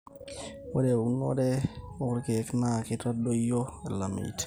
ore eunorto onkeek naa keitadoyio ilameitin